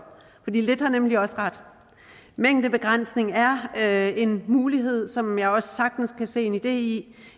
lidt har nemlig også ret mængdebegrænsning er er en mulighed som jeg også sagtens kan se en idé i